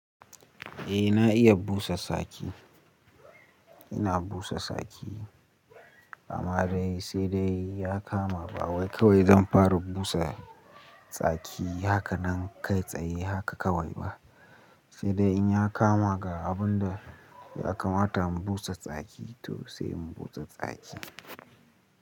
Eh na iya busa saki. Ina busa saki amma dai sai dai ya kama ba wai kawai zan fara busa tsaki haka nan kai tsaye haka kawai ba, sai dai in ya kama ga abunda ya kamata mu busa tsaki to sai mu busa tsaki.